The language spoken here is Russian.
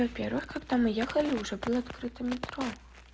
во-первых когда мы ехали уже был открыто метро